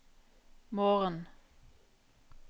morgen